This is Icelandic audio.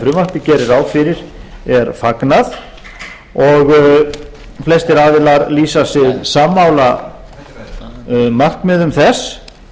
frumvarpið gerir ráð fyrir er fagnað og flestir aðilar lýsa sig sammála markmiðum þess